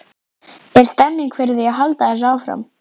Er stemning fyrir því að halda þessu áfram?